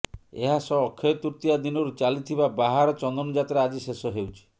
ଏହାସହ ଅକ୍ଷୟ ତୃତୀୟା ଦିନରୁ ଚାଲିଥିବା ବାହାର ଚନ୍ଦନ ଯାତ୍ରା ଆଜି ଶେଷ ହେଉଛି